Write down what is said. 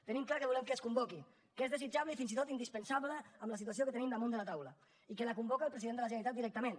tenim clar que volem que es convoqui que és desitjable i fins i tot indispensable amb la situació que tenim damunt de la taula i que la convoca el president de la generalitat directament